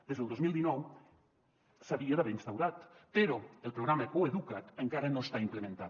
des del dos mil dinou s’havia d’haver instaurat però el programa coeduca’t encara no està implementat